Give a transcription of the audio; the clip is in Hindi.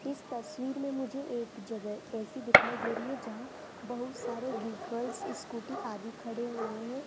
इस तस्वीर में मुझे एक जगह ऐसी दिखाई दे रही है जहां बहुत सारे व्हीकल्स स्कूटी आदि खड़े हुए हैं।